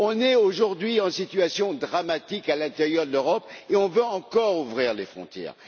On connaît, aujourd'hui, une situation dramatique à l'intérieur de l'Europe et on veut encore ouvrir les frontières.